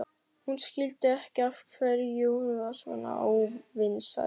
Hún skildi ekki af hverju hún var svona óvinsæl.